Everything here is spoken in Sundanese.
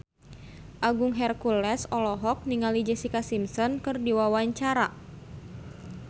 Agung Hercules olohok ningali Jessica Simpson keur diwawancara